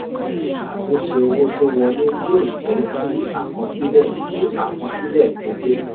àtúnṣe owó tó wolẹ́ yóò jẹ́ kí àkọsílẹ̀ kí àkọsílẹ̀ tó pé.